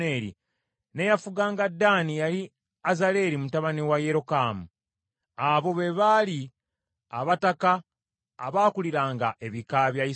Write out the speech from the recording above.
n’eyafuganga Ddaani yali Azaleri mutabani wa Yerokamu. Abo be baali abataka abaakuliranga ebika bya Isirayiri.